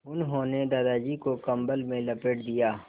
उन्होंने दादाजी को कम्बल में लपेट दिया